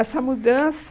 Essa mudança...